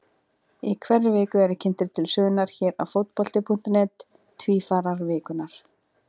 Í hverri viku eru kynntir til sögunnar hér á Fótbolti.net Tvífarar vikunnar.